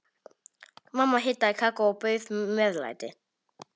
Mamma hitaði kakó og bauð meðlæti.